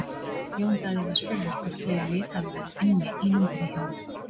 Jón Daði var spurður hvort fleiri lið hafi verið inni í myndinni hjá honum?